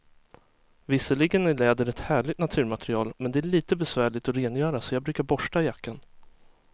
Visserligen är läder ett härligt naturmaterial, men det är lite besvärligt att rengöra, så jag brukar borsta jackan.